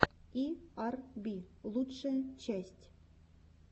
и ар би лучшая часть